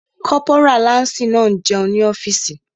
Kọ́pórà láǹsì náà n jẹun ní ọ́fìsì